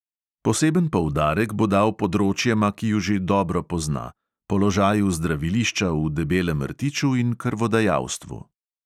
Poseben poudarek bo dal področjema, ki ju že dobro pozna: položaju zdravilišča v debelem rtiču in krvodajalstvu.